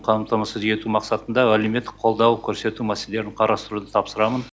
қамтамасыз ету мақсатында әлеуметтік қолдау көрсету мәселелерін қарастыруды тапсырамын